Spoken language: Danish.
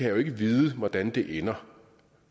jo ikke vide hvordan ender